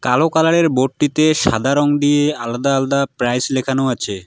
কালো কালারের বোর্ডটিতে সাদা রং দিয়ে আলাদা আলাদা প্রাইস লেখানো আছে।